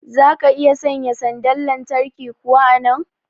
zaka iya sanya sanda lantarki kuwa a nan?